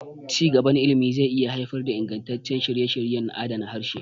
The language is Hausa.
Ci gaban ilimi zai iya haifar da ingantaccen shirye-shiryen adana harshe.